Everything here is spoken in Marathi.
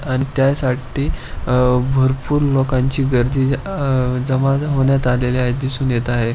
आणि त्यासाठी अ भरपूर लोकांची गर्दी अ जमा होण्यात आलेले आहे दिसून येत आहे.